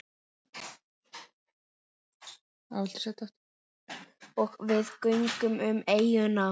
Og við göngum um eyjuna.